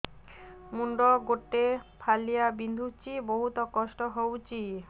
ମୁଣ୍ଡ ଗୋଟେ ଫାଳିଆ ବିନ୍ଧୁଚି ବହୁତ କଷ୍ଟ ହଉଚି